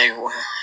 Ayiwa